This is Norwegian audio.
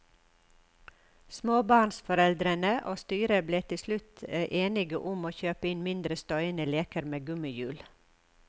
Småbarnsforeldrene og styret ble til slutt enige om å kjøpe inn mindre støyende leker med gummihjul.